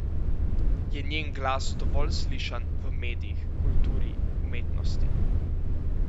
Je njen glas dovolj slišan v medijih, kulturi, umetnosti?